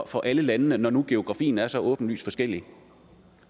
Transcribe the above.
for alle landene når nu geografien er så åbenlyst forskellig